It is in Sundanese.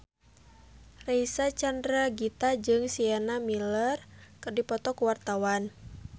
Reysa Chandragitta jeung Sienna Miller keur dipoto ku wartawan